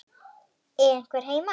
Er einhver heima?